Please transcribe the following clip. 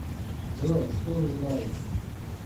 джой что вы знаете